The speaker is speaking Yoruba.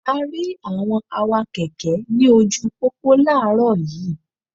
A rí àwọn awakẹ̀kẹ́ ní ojúu pópó láàárọ̀ yiiiw.